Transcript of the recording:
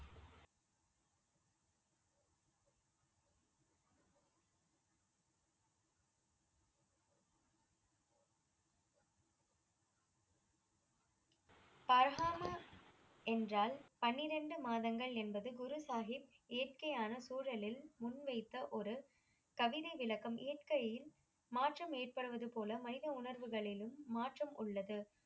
பர்ஹாம என்றால் பன்னிரண்டு மாதங்கள் என்பது குருசாஹிப் இயற்கையான சூழலில் முன்வைத்த ஒரு கவிதை விளக்கம் இயற்கையில் மாற்றம் ஏற்படுவது போல மனித உணர்வுகளிலும் மாற்றம் உள்ளது.